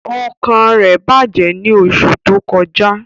Ọkàn rẹ bajẹ ni oṣu to kọja.